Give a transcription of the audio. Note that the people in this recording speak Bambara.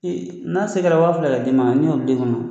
I n' asera kɛra waa fila ka di ma ne y'o di fana.